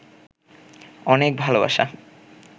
অনেক ভালোবাসা